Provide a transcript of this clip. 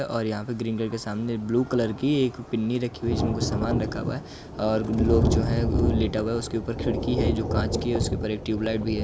और यहां पे ग्रिन्डर के सामने एक ब्लू कलर की एक पिन्नी रखी हुयी है जिसमें कुछ सामान रखा हुआ है और लोग जो है वो लेटा हुआ है उसके ऊपर खिड़की जो है वो काँच की है उसके ऊपर एक ट्यूब लाइट भी है।